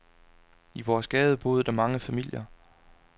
I vores gade boede der mange familier.